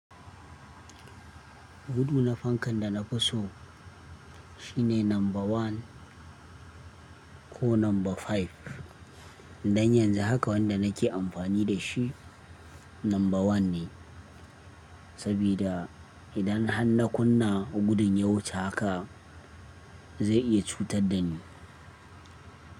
Gudu na fankan da na fi so shine number one ko number five. Dan yanzu haka wanda nake amfani da shi number one ne, sabida idan har na kunna gudun ya wuce haka zai iya cutar da ni.